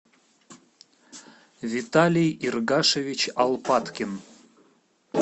виталий иргашевич алпаткин